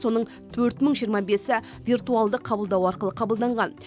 соның төрт мың жиырма бесі виртуалды қабылдау арқылы қабылданған